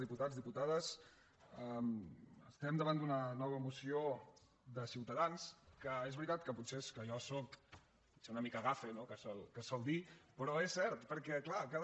diputats diputades estem davant d’una nova moció de ciutadans que és veritat que potser és que jo soc potser una mica gafe no que es sol dir però és cert perquè clar cada